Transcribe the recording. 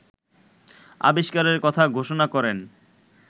আবিষ্কারের কথা ঘোষণা করেন